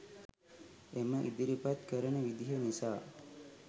එම ඉදිරිපත් කරන විදිහ නිසා.